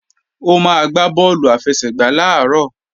Ó máa gbá bọ́ọ̀lù àfẹsẹ̀gbá làárọ̀